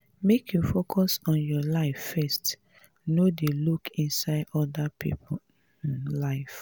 make you focus on your life first no dey look inside oda pipo um life.